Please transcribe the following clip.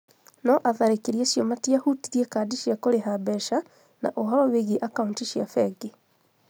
No atharĩkĩri acio matiahutirie kandi cia kũrĩha mbeca na ũhoro wĩgiĩ akaunti cia bengi.